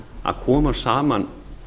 að koma saman